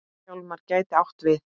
Hjálmar gæti átt við